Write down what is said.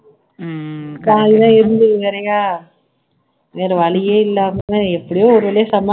காலையில எழுந்து நிறையா வேற வழியே இல்லாம எப்படியோ ஒரு வழியை சமாளிச்சு